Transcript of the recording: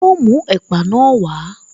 Yọ mú ẹ̀pà na wá